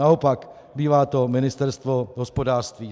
Naopak, bývá to Ministerstvo hospodářství.